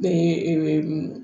Bɛɛ ye